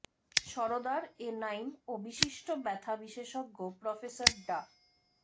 Sardar A Naim ও বিশিষ্ট ব্যথা বিশেষজ্ঞ প্রফেসর ডা